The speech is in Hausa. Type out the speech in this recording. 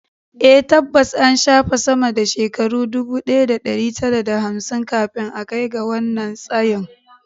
A, tabbas an shafe sama da shekaru ɗubu ɗaya da ɗari tara da hamsin kafin a kai ga wannan tsayin